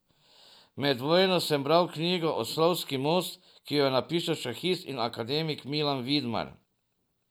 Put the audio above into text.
Med vojno sem bral knjigo Oslovski most, ki jo je napisal šahist in akademik Milan Vidmar.